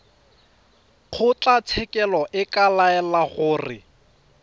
kgotlatshekelo e ka laela gore